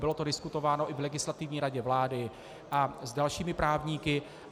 Bylo to diskutováno i v Legislativní radě vlády a s dalšími právníky.